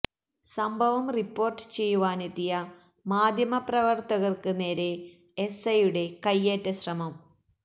സംഭവം റിപ്പോര്ട്ട് ചെയ്യുവാനെത്തിയ മാധ്യമ പ്രവര്ത്തകര്ക്ക് നേരെ എസ്ഐയുടെ കൈയേറ്റ ശ്രമം